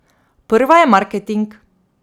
Prva je marketing.